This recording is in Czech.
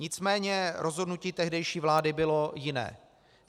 Nicméně rozhodnutí tehdejší vlády bylo jiné.